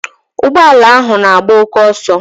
Ụgbọala ahụ n'agba oké ọsọ.